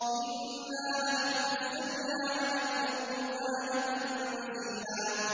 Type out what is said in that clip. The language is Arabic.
إِنَّا نَحْنُ نَزَّلْنَا عَلَيْكَ الْقُرْآنَ تَنزِيلًا